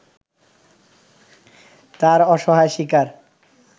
তার অসহায় শিকার